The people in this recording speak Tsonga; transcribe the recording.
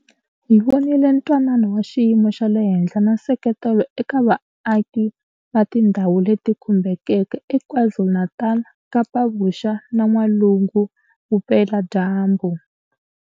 Hi vonile twanano wa xiyimo xa le henhla na nseketelo eka vaaki va tindhawu leti khumbekeke eKwaZulu-Natal, Kapa Vuxa na N'walungu Vupe ladyambu.